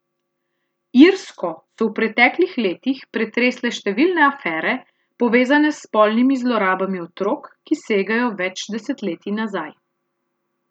Irsko so v preteklih letih pretresle številne afere, povezane s spolnimi zlorabami otrok, ki segajo več desetletij nazaj.